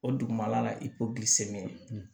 O dugumana la i ko bi se ne